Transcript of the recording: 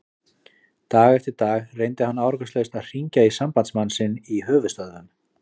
Dag eftir dag reyndi hann árangurslaust að hringja í sambandsmann sinn í höfuðstöðvum